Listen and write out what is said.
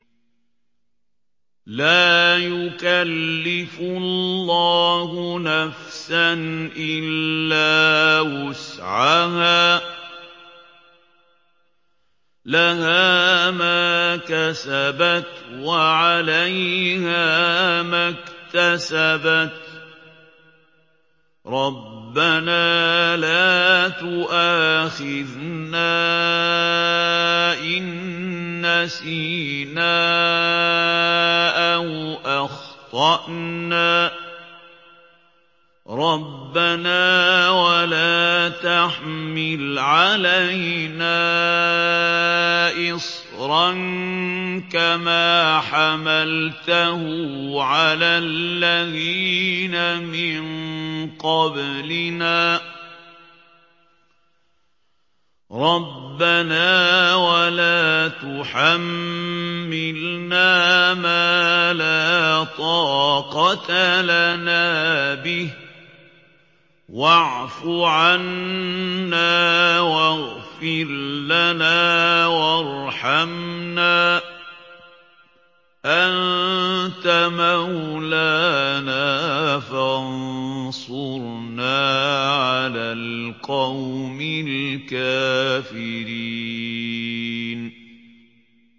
لَا يُكَلِّفُ اللَّهُ نَفْسًا إِلَّا وُسْعَهَا ۚ لَهَا مَا كَسَبَتْ وَعَلَيْهَا مَا اكْتَسَبَتْ ۗ رَبَّنَا لَا تُؤَاخِذْنَا إِن نَّسِينَا أَوْ أَخْطَأْنَا ۚ رَبَّنَا وَلَا تَحْمِلْ عَلَيْنَا إِصْرًا كَمَا حَمَلْتَهُ عَلَى الَّذِينَ مِن قَبْلِنَا ۚ رَبَّنَا وَلَا تُحَمِّلْنَا مَا لَا طَاقَةَ لَنَا بِهِ ۖ وَاعْفُ عَنَّا وَاغْفِرْ لَنَا وَارْحَمْنَا ۚ أَنتَ مَوْلَانَا فَانصُرْنَا عَلَى الْقَوْمِ الْكَافِرِينَ